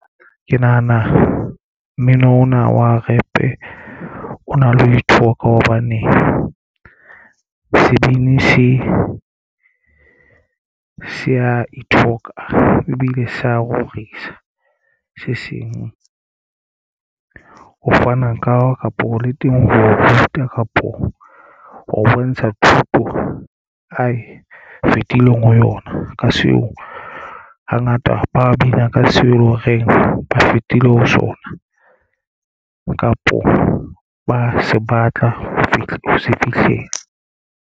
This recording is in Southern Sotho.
Ke nahana mmino ona wa rap-e o na le ho ithoka hobane sebini se se ya ithoka ebile se ya rorisa se seng. Ho fana ka kapo le teng ho ruta kapo ho bontsha thuto ae fetileng ho yona ka seo hangata ba bina ka seo eleng horeng ba fetile ho sona kapo ba se batla ho se fihlela.